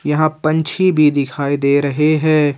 यहां पंछी भी दिखाई दे रहे हैं।